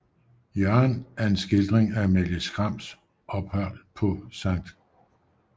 Jørgen er en skildring af Amalie Skrams ophold på Skt